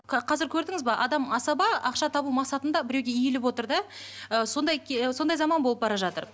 қазір көрдіңіз бе адам асаба ақша табу мақсатында біреуге иіліп отыр да ы сондай сондай заман болып бара жатыр